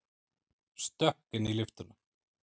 Stökk inn í lyftuna.